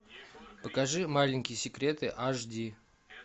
покажи маленькие секреты аш ди